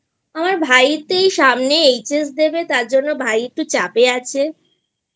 আমার ভাই তো এই সামনে HSদেবে তার জন্য ভাই একটু চাপে আছেI